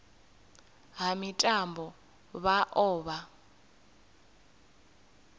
ha mitambo vha o vha